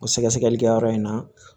O sɛgɛsɛgɛli kɛyɔrɔ in na